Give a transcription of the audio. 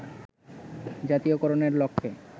জাতীয়করণের লক্ষ্যে